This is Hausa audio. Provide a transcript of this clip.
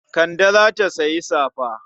Kande za ta sayi safa.